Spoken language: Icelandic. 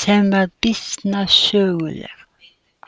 sem var býsna söguleg.